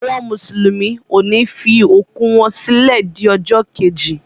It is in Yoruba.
Àwọn mùsùlùmí ọ ni fi òkú wọ́n sílẹ di ọjọ́ keji.